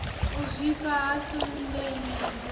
u zwifha ha ntsundeni tshiofhiso